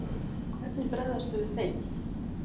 Og hvernig bregðast þau við þeim?